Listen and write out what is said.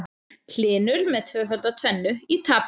Hlynur með tvöfalda tvennu í tapi